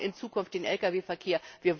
Wir brauchen in Zukunft den Lkw Verkehr.